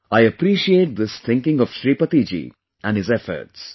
I appreciate this thinking of Shripati ji and his efforts